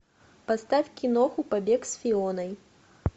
поставь киноху побег с фионой